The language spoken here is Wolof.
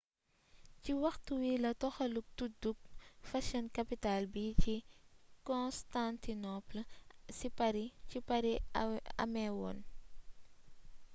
ci waxtu bi la toxaluk tudduk fashion capital bi ci constantinople ci paris améwoon